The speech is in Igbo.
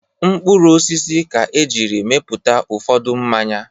Mkpụrụ osisi ka e jiri mepụta ụfọdụ mmanya.